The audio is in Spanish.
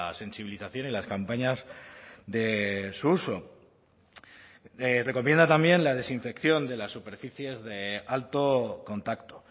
sensibilización en las campañas de su uso recomienda también la desinfección de las superficies de alto contacto